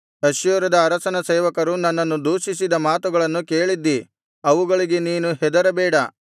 ಅಶ್ಶೂರದ ಅರಸನ ಸೇವಕರು ನನ್ನನ್ನು ದೂಷಿಸಿದ ಮಾತುಗಳನ್ನು ಕೇಳಿದ್ದೀ ಅವುಗಳಿಗೆ ನೀನು ಹೆದರಬೇಡ